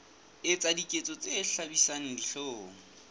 etsa diketso tse hlabisang dihlong